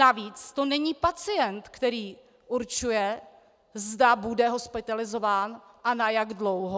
Navíc to není pacient, který určuje, zda bude hospitalizován a na jak dlouho.